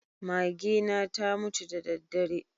Magena ta mutu da daddare.